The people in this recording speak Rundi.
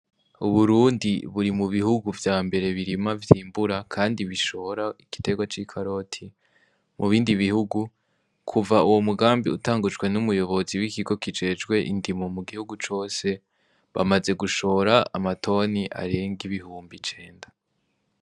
Uburundi buri mu bihugu vya mbere birima vyimbura, kandi bishora igitegwa c'i karoti mu bindi bihugu kuva uwo mugambi utangujwe n'umuyobozi w'ikigo kijejwe indimo mu gihugu cose bamaze gushora amatoni arenga ibihumbi icenda.